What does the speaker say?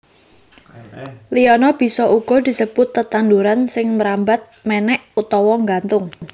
Liana bisa uga disebut tetanduran sing mrambat mènèk utawa nggantung